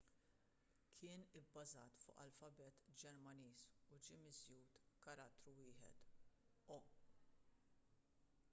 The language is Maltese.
kien ibbażat fuq l-alfabet ġermaniż u ġie miżjud karattru wieħed õ/õ